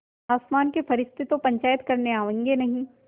आसमान के फरिश्ते तो पंचायत करने आवेंगे नहीं